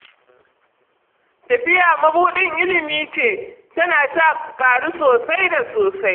Tafiya mabuɗin ilimi ce, tana sa ka ƙaru sosai da sosai